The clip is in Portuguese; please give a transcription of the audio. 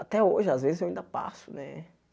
Até hoje, às vezes, eu ainda passo, né?